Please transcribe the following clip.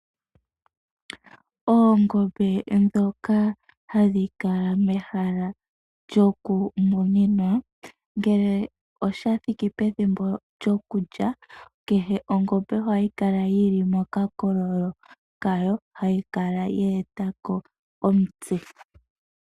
Oongombe ndhoka hadhi kala mehala lyo ku monena, ngele osha thiki pethimbo lyokulya, kehe ongombe ohayi kala yi li mehala lya yo, ye etako omutse.